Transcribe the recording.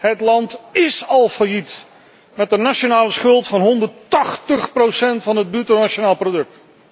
Het land ís al failliet, met een nationale schuld van 180 procent van het bruto nationaal product.